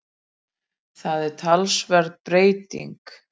Það er talsverð breyting